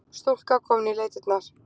Stúlka komin í leitirnar